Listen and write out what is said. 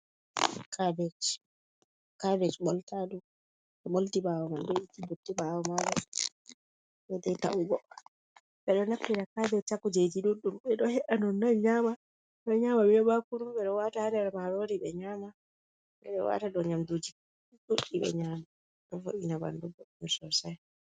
Kabej., Kabej ɓolta ɗum ɓe ɓolti ɓawo man, dei dei ta' ugo. Ɓe ɗo naftira kabej ha kujeji ɗuɗɗum. Ɓe ɗo he’a dum nonnon nyama, ɓe ɗo nyama be bakuru, ɓe ɗo wata ha nder marori ɓe nyama, ɓe ɗo wata dau nyamduji ɗuɗɗi ɓe nyama, ɗo vo’ina ɓandu sosai.